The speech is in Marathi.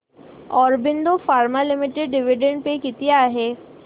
Aurobindo pharma limited dividend pay किती आहे